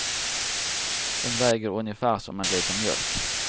Den väger ungefär som en liter mjölk.